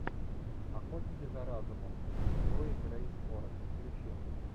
охотники за разумом с хлоей грейс морец включи